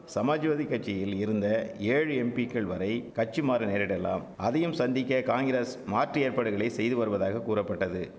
சமாஜ்வாதி கட்சியில் இருந்த ஏழு எம்பிக்கள்வரை கட்சி மாற நேரிடலாம் அதையும் சந்திக்க காங்கிரஸ் மாற்று ஏற்பாடுகளை செய்து வருவதாக கூறப்பட்டது